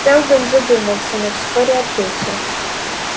сэлдон задумался но вскоре ответил